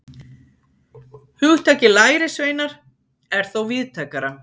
Hugtakið lærisveinar er þó víðtækara.